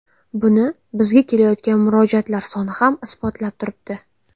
Buni bizga kelayotgan murojaatlar soni ham isbotlab turibdi.